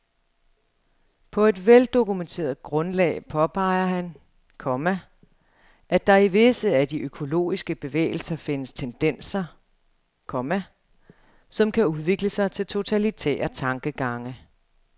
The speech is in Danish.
På et veldokumenteret grundlag påpeger han, komma at der i visse af de økologiske bevægelser findes tendenser, komma som kan udvikle sig til totalitære tankegange. punktum